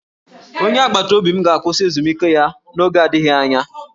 Onye agbataobi m ga-akwụsị ezumike ya n'oge adịghị anya